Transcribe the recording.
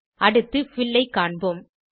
அடுத்து பில் ஐ காண்போம்